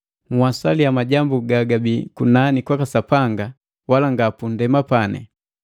Nhwasaliya majambu gagabii kunani kwaka Sapanga, wala nga gupundema.